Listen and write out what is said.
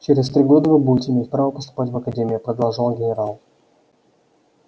через три года вы будете иметь право поступать в академию продолжал генерал